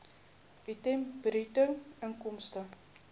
item bruto inkomste